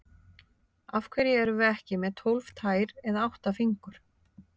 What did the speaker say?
Af hverju erum við ekki með tólf tær eða átta fingur?